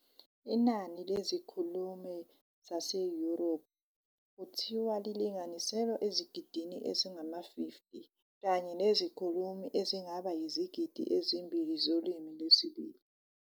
Inani lezikhulumi zaseYoruba kuthiwa lilinganiselwa ezigidini ezingama-50, kanye nezikhulumi ezingaba yizigidi ezimbili zolimi lwesibili.